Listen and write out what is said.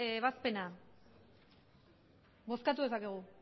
ebazpena bozkatu dezakegu